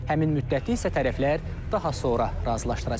Həmin müddəti isə tərəflər daha sonra razılaşdıracaq.